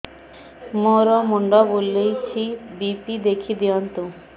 ମୋର ମୁଣ୍ଡ ବୁଲେଛି ବି.ପି ଦେଖି ଦିଅନ୍ତୁ